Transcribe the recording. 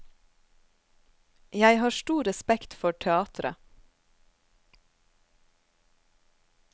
Jeg har stor respekt for teatret.